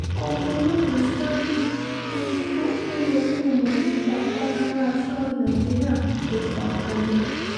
ọmọ ológo stanley wo ohun tó tó yẹ kóo mọ̀ nípa àpáta ńlá asọ́lé nàìjíríà tó fakọyọ